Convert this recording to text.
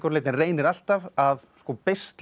leyti en reynir alltaf að beisla